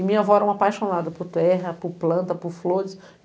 E minha avó era uma apaixonada por terra, por planta, por flores.